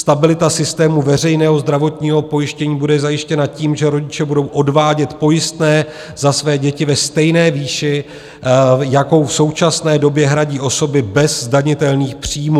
Stabilita systému veřejného zdravotního pojištění bude zajištěna tím, že rodiče budou odvádět pojistné za své děti ve stejné výši, jakou v současné době hradí osoby bez zdanitelných příjmů.